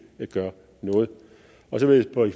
være